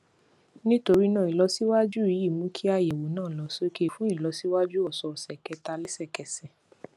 nítorí náà ìlọsíwájú yìí ń mú kí àyẹwò náà lọ sókè fún ìlọsíwájú òsòòsè kẹta lẹsẹkẹsẹ